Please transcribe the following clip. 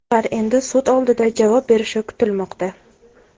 Ular endi sud oldida javob berishi kutilmoqda.